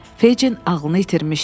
Feccin ağlını itirmişdi.